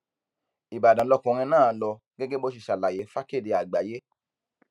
ìbàdàn lọkùnrin náà ń lọ gẹgẹ bó ṣe ṣàlàyé fàkèdé àgbáyé